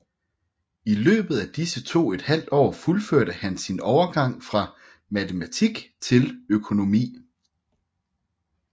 I løbet af disse to et halvt år fuldførte han sin overgang fra matematik til økonomi